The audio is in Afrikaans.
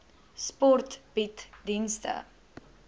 sport bied dienste